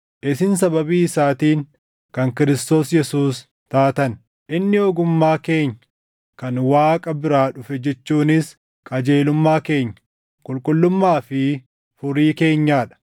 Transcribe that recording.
Isin sababii isaatiin kan Kiristoos Yesuus taatan; inni ogummaa keenya kan Waaqa biraa dhufe jechuunis qajeelummaa keenya, qulqullummaa fi furii keenyaa dha.